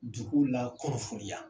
Dugu la kɔrɔfoniya